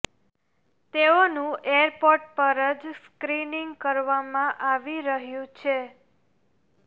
તેઓનું એરપોર્ટ પર જ સ્ક્રીનીંગ કરવામાં આવી રહયું છે